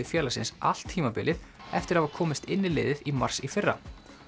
félagsins allt tímabilið eftir að hafa komist inn í liðið í mars í fyrra